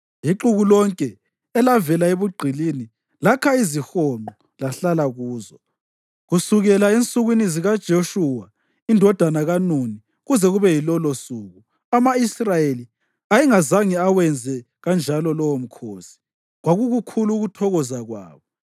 Ixuku lonke elavela ebugqilini lakha izihonqo lahlala kuzo. Kusukela ensukwini zikaJoshuwa indodana kaNuni kuze kube yilolosuku, ama-Israyeli ayengazange awenze kanjalo lowo mkhosi. Kwakukukhulu ukuthokoza kwabo.